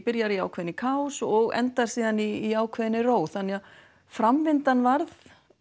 byrjaði í ákveðinni kaos og endar síðan í ákveðinni ró þannig að framvindan varð